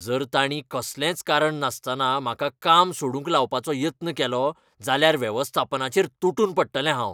जर तांणी कसलेंच कारण नासतना म्हाका काम सोडूंक लावपाचो यत्न केलो जाल्यार वेवस्थापनाचेर तुटून पडटलें हांव.